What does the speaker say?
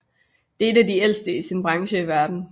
Det er en af de ældste i sin branche i verden